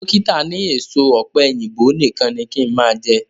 Dókítà ni èso ọ̀pẹ̀yìnbo nìkan ni kí n máa jẹ